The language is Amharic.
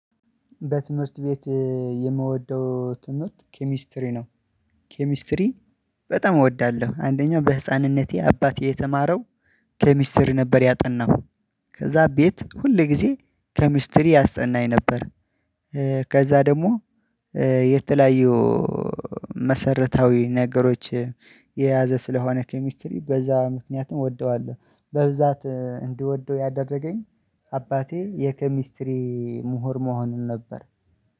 በትምህርት ቤት የምወደው ትምህርት ኬሚስትሪ ነው። ኬሚስትሪ በጣም እወዳለሁ። አንደኛው በህፃንነቴ አባቴ የተማረው ከሚስተር ነበር። ያጠናሁ ከዛ ቤት ሁሌ ጊዜ ከሚስትሪ ያስተናኝ ነበር። ከዛ ደግሞ የተለያየው መሰረታዊ ነገሮች የያዘ ስለሆነ ኬሚስትሪ በዛ ምክንያትም እወደዋለሁ። በብዛት እንዲወደው ያደረገኝ አባቴ የኬሚስትሪ ምሁር መሆኑን ነበር።